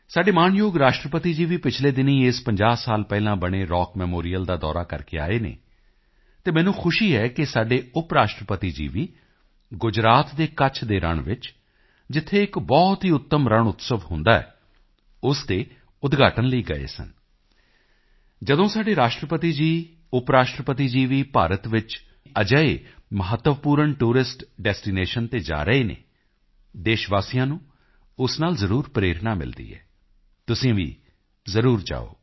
ਸਾਡੇ ਮਾਣਯੋਗ ਰਾਸ਼ਟਰਪਤੀ ਜੀ ਵੀ ਪਿਛਲੇ ਦਿਨੀਂ ਇਸ 50 ਸਾਲ ਪਹਿਲਾਂ ਬਣੇ ਰੌਕ ਮੈਮੋਰੀਅਲ ਦਾ ਦੌਰਾ ਕਰਕੇ ਆਏ ਹਨ ਅਤੇ ਮੈਨੂੰ ਖੁਸ਼ੀ ਹੈ ਕਿ ਸਾਡੇ ਉਪ ਰਾਸ਼ਟਰਪਤੀ ਜੀ ਵੀ ਗੁਜਰਾਤ ਦੇ ਕੱਛ ਦੇ ਰਣ ਵਿੱਚ ਜਿੱਥੇ ਇੱਕ ਬਹੁਤ ਹੀ ਉੱਤਮ ਰਣਉਤਸਵ ਹੁੰਦਾ ਹੈ ਉਸ ਦੇ ਉਦਘਾਟਨ ਦੇ ਲਈ ਗਏ ਸਨ ਜਦੋਂ ਸਾਡੇ ਰਾਸ਼ਟਰਪਤੀ ਜੀ ਉਪ ਰਾਸ਼ਟਰਪਤੀ ਜੀ ਵੀ ਭਾਰਤ ਵਿੱਚ ਵੀ ਅਜਿਹੇ ਮਹੱਤਵਪੂਰਨ ਟੂਰਿਸਟ ਡੈਸਟੀਨੇਸ਼ਨ ਤੇ ਜਾ ਰਹੇ ਹਨ ਦੇਸ਼ਵਾਸੀਆਂ ਨੂੰ ਉਸ ਨਾਲ ਜ਼ਰੂਰ ਪ੍ਰੇਰਣਾ ਮਿਲਦੀ ਹੈ ਤੁਸੀਂ ਵੀ ਜ਼ਰੂਰ ਜਾਓ